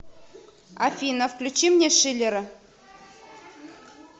афина включи мне шиллера